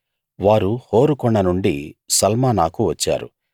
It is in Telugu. వారు హోరు కొండ నుండి సల్మానాకు వచ్చారు